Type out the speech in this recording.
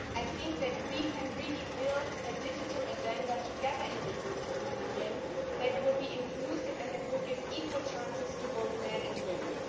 I think that we can really build a digital agenda together in the European Union that will be inclusive and that will give equal chances to both men and women.